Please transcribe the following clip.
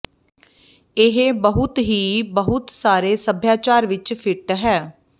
ਇਹ ਬਹੁਤ ਹੀ ਬਹੁਤ ਸਾਰੇ ਸਭਿਆਚਾਰ ਵਿਚ ਫਿੱਟ ਹੈ